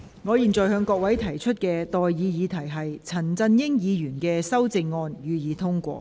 我現在向各位提出的待議議題是：陳振英議員動議的修正案，予以通過。